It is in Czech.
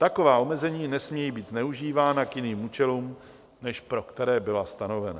Taková omezení nesmějí být zneužívána k jiným účelům, než pro které byla stanovena.